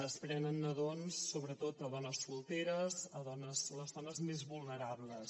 es prenen nadons sobretot a dones solteres a les dones més vulnerables